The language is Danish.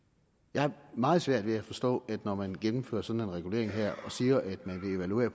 jeg har meget svært ved at forstå at når man gennemfører sådan en regulering her og siger at man vil evaluere